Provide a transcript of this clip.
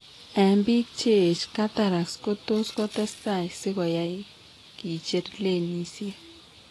Eng' biik cheech cataracts kotot kotestai sikoyai kicher lenisiek